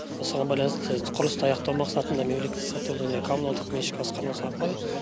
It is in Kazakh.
осыған байланысты құрылысты аяқтау мақсатында мемлекеттік сатып алу және коммуналдық меншік басқармасы арқылы